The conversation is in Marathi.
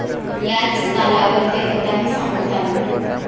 याच तालावर ते कथाही सांगतात.